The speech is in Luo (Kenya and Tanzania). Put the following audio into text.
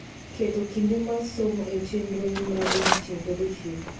keto kinde mar somo e chenroni mar odiechieng' kodiechieng'